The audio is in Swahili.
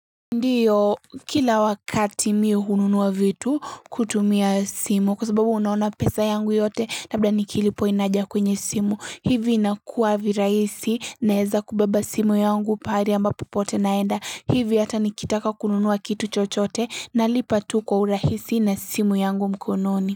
Ndio kila wakati mimi hununua vitu kutumia simu kwa sababu unaona pesa yangu yote kabla nikilipo inaja kwenye simu hivi inakuwa viraisi naeza kubeba simu yangu pahali ambapo pote naenda hivi hata nikitaka kununuwa kitu chochote na lipatu kwa urahisi na simu yangu mkononi.